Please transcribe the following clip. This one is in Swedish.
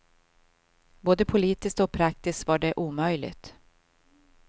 Både politiskt och praktiskt var det omöjligt.